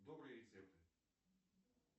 добрые рецепты